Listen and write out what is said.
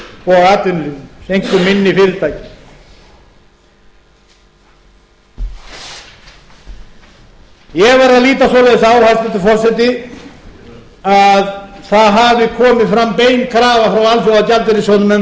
og atvinnulífinu einkum minni fyrirtækjum ég verð að líta svoleiðis á hæstvirtur forseti að það hafi komið fram bein krafa frá alþjóðagjaldeyrissjóðnum